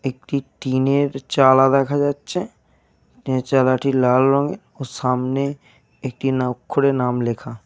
একটি টিনের চালা দেখা যাচ্ছে। এই চালাটি লাল রঙের। ও সামনে একটি ন অক্ষরে নাম লেখা।